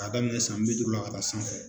K'a daminɛ san bi duuru la ka sanfɛ